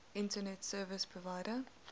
internet service provider